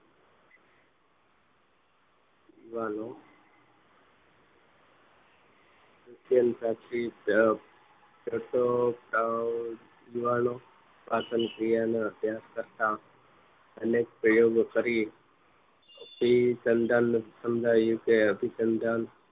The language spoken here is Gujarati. અત્યંત સાચી જ પાચન ક્રિયાના અભ્યાસ કરતા અનેક પ્રયોગો કરી અભિસંધાન સમજાયું અભિસંધાન